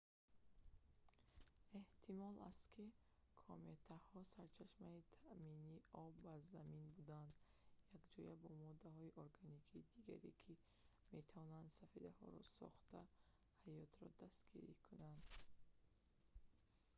эҳтимол аст ки кометаҳо сарчашмаи таъмини об ба замин буданд якҷоя бо моддаҳои органикии дигаре ки метавонанд сафедаҳоро сохта ҳаётро дастгирӣ кунанд